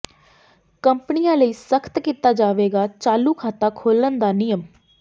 ਕੰਪਨੀਆਂ ਲਈ ਸਖਤ ਕੀਤਾ ਜਾਵੇਗਾ ਚਾਲੂ ਖਾਤਾ ਖੋਲ੍ਹਣ ਦਾ ਨਿਯਮ